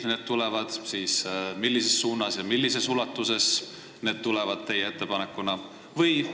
Kui need tulevad, siis millises suunas ja millises ulatuses need tulevad teie ettepanekuna?